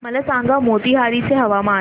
मला सांगा मोतीहारी चे हवामान